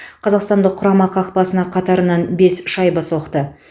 қазақстандық құрама қақпасына қатарынан бес шайба соқты